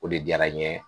O de diyara n ye